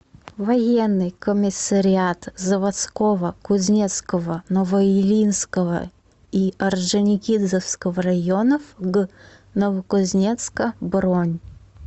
военный комиссариат заводского кузнецкого новоильинского и орджоникидзевского районов г новокузнецка бронь